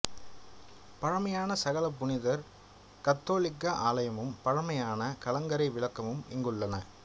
பழைமையான சகல புனிதர் கத்தோலிக்க ஆலயமும் பழமையான கலங்கரை விளக்கமும் இங்குள்ளன